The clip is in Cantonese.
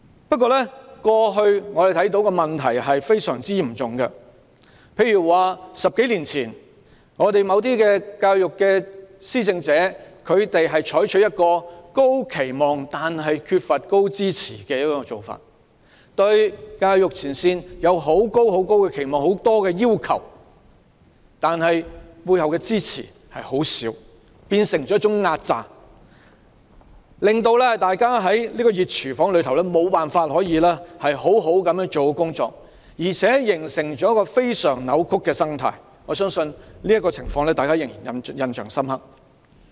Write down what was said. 不過，過去的問題非常嚴重，在10多年前，某些教育施政者採取一種高期望但缺乏高支持的做法，對教育前線人員有極高期望及極多要求，但背後的支持卻很少，變成一種壓榨，令大家在這個"熱廚房"中無法做好工作，形成一個非常扭曲的生態，我相信大家對這情況仍然印象深刻。